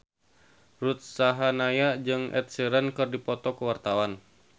Ruth Sahanaya jeung Ed Sheeran keur dipoto ku wartawan